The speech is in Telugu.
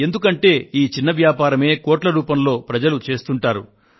ఎందుకంటే ఈ చిన్న వ్యాపారమే కోట్ల రూపంలో ప్రజలు చేస్తుంటారు